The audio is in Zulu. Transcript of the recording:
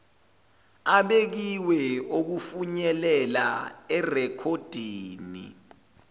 abekiwe okufinyelela erekhoddini